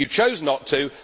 You chose not to.